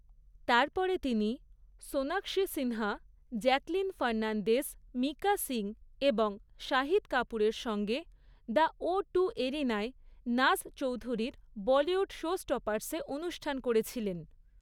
তারপরে তিনি Sonakshi Sinha, Jacqueline Fernandez, Mika Singh এবং শহীদ কাপুরের সঙ্গে দ্য ওটু এরিনায় নাজ চৌধুরীর বলিউড শোস্টপার্সে অনুষ্ঠান করেছিলেন।